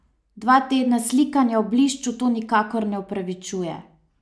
Dva tedna slikanja v blišču to nikakor ne upravičuje.